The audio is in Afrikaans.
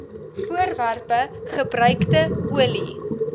voorwerpe gebruikte olie